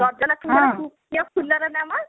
ଗଜଲକ୍ଷ୍ମୀଙ୍କର ଙ୍କର ପ୍ରିୟ ଫୁଲ ର ନାମ?